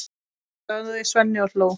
sagði Svenni og hló.